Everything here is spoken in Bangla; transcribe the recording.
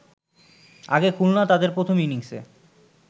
আগে খুলনা তাদের প্রথম ইনিংসে